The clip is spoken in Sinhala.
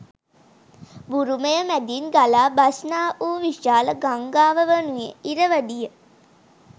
බුරුමය මැඳින් ගලා බස්නා වූ විශාල ගංඟාව වනුයේ ඉරවඩිය.